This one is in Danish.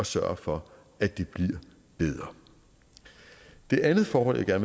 sørge for at det bliver bedre det andet forhold jeg